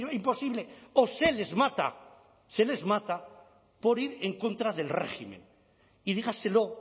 imposible o se les mata se les mata por ir en contra del régimen y dígaselo